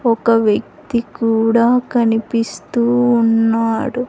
ఒక వ్యక్తి కూడా కనిపిస్తూ ఉన్నాడు.